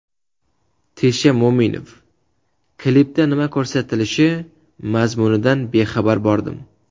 Tesha Mo‘minov: Klipda nima ko‘rsatilishi, mazmunidan bexabar bordim.